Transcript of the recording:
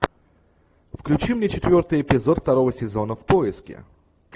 включи мне четвертый эпизод второго сезона в поиске